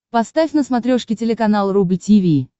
поставь на смотрешке телеканал рубль ти ви